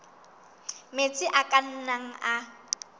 metsi a ka nnang a